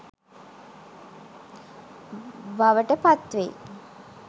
බවට පත් වෙයි.